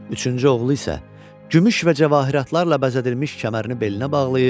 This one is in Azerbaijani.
Üçüncü oğlu isə gümüş və cəvahiratlarla bəzədilmiş kəmərini belinə bağlayıb.